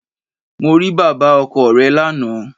Mo rí bàbá ọkọ re lánàá